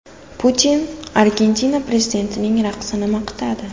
Putin Argentina prezidentining raqsini maqtadi.